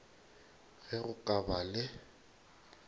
ge go ka ba le